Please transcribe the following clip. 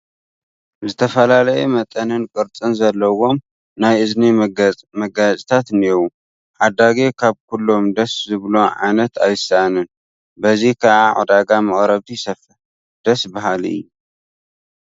ዝተፈላለየ መጠንን ቅርፅን ዘለዎም ናይ እዝኒ መጋየፅታት እኔዉ፡፡ ዓዳጊ ካብ ኩሎም ደስ ዝብሎ ዓይነት ኣይስእንን፡፡ በዚ ከዓ ዕዳጋ መቕረብቲ ይሰፍሕ፡፡ ደስ በሃሊ፡፡